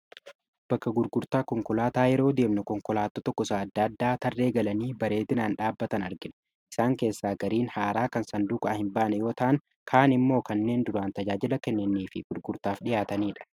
bakka gurgurtaa konkolaataa yeroo deemno konkolaattoo tokko isa adda addaa tarree galanii bareedinaan dhaabatan argina isaan keessaa gariin haaraa kan sandukaa hin baane wataan kaan immoo kanneen duraan tajaajila kenneenii fi gurgurtaaf dhihaataniidha